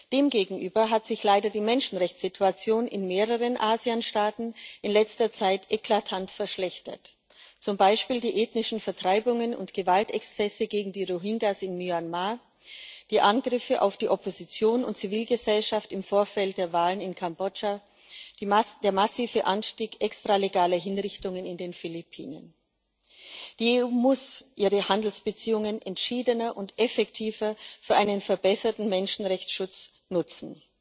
Demgegenüber hat sich leider die Menschenrechtssituation in mehreren ASEAN Staaten in letzter Zeit eklatant verschlechtert, zum Beispiel die ethnischen Vertreibungen und Gewaltexzesse gegen die Rohingya in Myanmar, die Angriffe auf die Opposition und Zivilgesellschaft im Vorfeld der Wahlen in Kambodscha, der massive Anstieg extralegaler Hinrichtungen auf den Philippinen. Die EU muss ihre Handelsbeziehungen entschiedener und effektiver für einen verbesserten Menschenrechtsschutz nutzen.